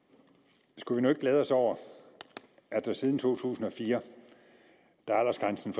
skulle vi nu ikke glæde os over at der siden to tusind og fire da aldersgrænsen